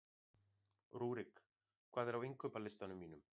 Rúrik, hvað er á innkaupalistanum mínum?